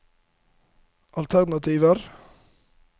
alternativer